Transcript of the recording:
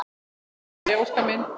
Jæja Óskar minn!